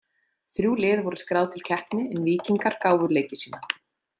Þrjú lið voru skráð til keppni en Víkingar gáfu leiki sína.